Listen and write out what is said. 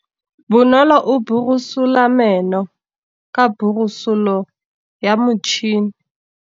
Bonolô o borosola meno ka borosolo ya motšhine.